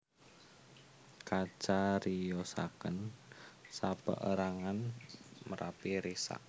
Kacariyosaken sapeérangan merapi risak